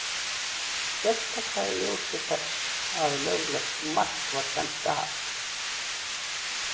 Sérstaklega í ljósi þess að löglegt mark var dæmt af.